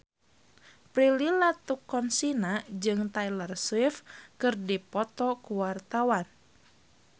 Prilly Latuconsina jeung Taylor Swift keur dipoto ku wartawan